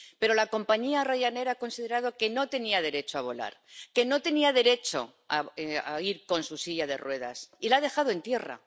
Pero la compañía Ryanair ha considerado que no tenía derecho a volar, que no tenía derecho a ir con su silla de ruedas y la ha dejado en tierra.